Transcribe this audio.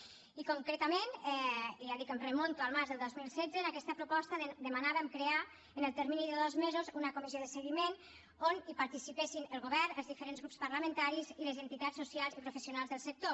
i concretament i ja dic em remunto al març del dos mil setze en aquesta proposta demanàvem crear en el termini de dos mesos una comissió de seguiment on participessin el govern els diferents grups parlamentaris i les entitats socials i professionals del sector